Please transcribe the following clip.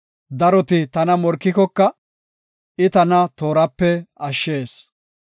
Daroti tana morkikoka, I tana toorape ashshees.